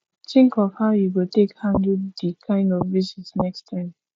think of how you go take handle di kind of visit next time